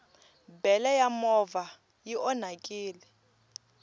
bele ya movha i onhakini